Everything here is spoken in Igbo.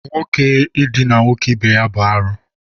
Nwoke idina nwoke ibe ya bụ arụ